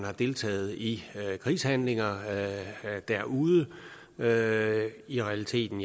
har deltaget i krigshandlinger derude ja i realiteten